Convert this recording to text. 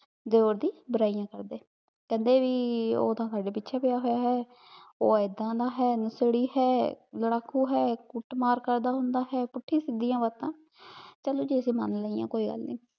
ਦੇਵਰ ਦੀ ਬੁਰਾਈਆਂ ਕਰਦੇ ਕੇਹ੍ਨ੍ਡੇ ਭੀ ਊ ਤਾਂ ਸਾਡੇ ਪਿਛੇ ਪੀਯਾ ਹੋਯਾ ਆਯ ਊ ਏਦਾਂ ਦਾ ਹੈ ਨਸ਼ੇੜੀ ਹੈ ਲਾਰਾਕੂ ਹੈ ਕੁੱਟ ਮਾਰ ਕਰਦਾ ਹੁੰਡ ਆਹਿਆ ਪੁਠੀ ਸਿਧਿਯਾਂ ਬਾਤਾਂ ਪਹਲੇ ਤੇ ਅਸੀਂ ਮਨ ਲੈਯਾਂ ਕੋਈ ਗਲ ਨਾਈ